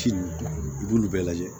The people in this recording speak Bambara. Ci ninnu i b'olu bɛɛ lajɛ